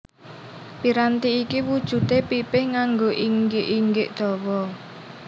Piranti iki wujudé pipih nganggo inggik inggik dawa